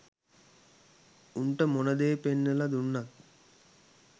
උන්ට මොනදේ පෙන්නලා දුන්නත්